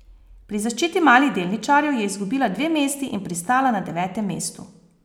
Pri zaščiti malih delničarjev je izgubila dve mesti in pristala na devetem mestu.